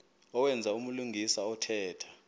owenza ubulungisa othetha